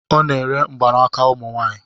Ọ na-ere mgbaaka ụmụ nwanyị